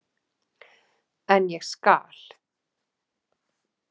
En ég skal.